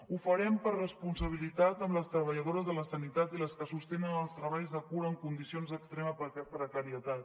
ho farem per responsabilitat amb les treballadores de la sanitat i les que sostenen els treballs de cura en condicions d’extrema precarietat